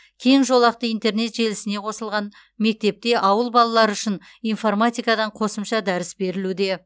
кең жолақты интернет желісіне қосылған мектепте ауыл балалары үшін информатикадан қосымша дәріс берілуде